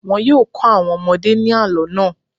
Wọn yóò kọ́ àwọn ọmọdé ní àlọ́ náà.